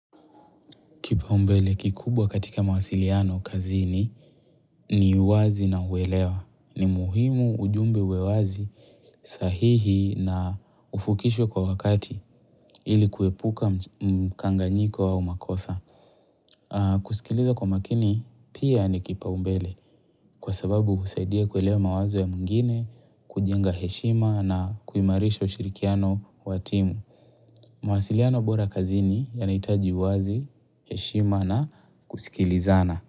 Kipaombele kikubwa katika mawasiliano kazini ni uwazi na uwelewa. Ni muhimu ujumbe uwe wazi sahihi na ufukishwe kwa wakati ili kuepuka mkanganyiko au makosa. Kusikiliza kwa makini pia nikipaombele kwa sababu husaidia kuelewa mawazo ya mwingine, kujenga heshima na kuimarisha ushirikiano wa timu. Mawasiliano bora kazini yanahitaji uwazi, heshima na kusikilizana.